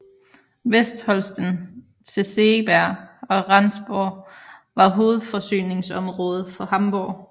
Vestholsten til Segeberg og Rendsborg var hovedforsyningsområde for Hamborg